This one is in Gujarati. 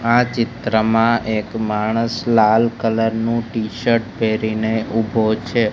આ ચિત્રમાં એક માણસ લાલ કલર નું ટીશર્ટ પહેરીને ઉભો છે.